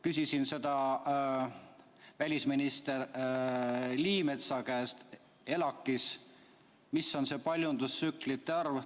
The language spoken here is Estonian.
Küsisin välisminister Liimetsa käest ELAK‑is, mis on see paljundustsüklite arv.